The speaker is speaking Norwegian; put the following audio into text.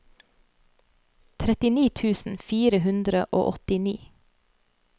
trettini tusen fire hundre og åttini